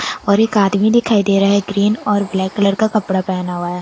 और एक आदमी दिखाई दे रहा है ग्रीन और ब्लैक कलर का कपड़ा पहना हुआ है।